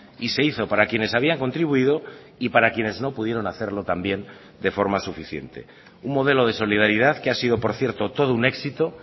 y se hizo para quienes habían contribuido y para quienes no pudieron hacerlo también de forma suficiente un modelo de solidaridad que ha sido por cierto todo un éxito